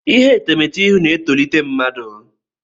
Ihe etemeete ịhụ na-etolite mma.